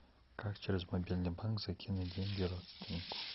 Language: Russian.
как через мобильный банк закинуть деньги родственнику